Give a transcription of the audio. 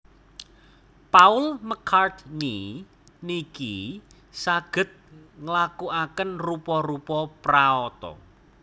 Paul McCartney niki saget nglakuaken rupa rupa praoto